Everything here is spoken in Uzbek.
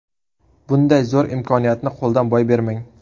Bunday zo‘r imkoniyatni qo‘ldan boy bermang!